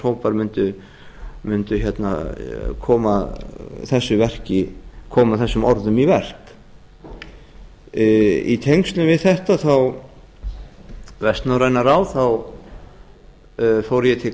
einhverjir samstarfshópar mundu koma þessum orðum í verk í tengslum við þetta vestnorræna ráð fór ég til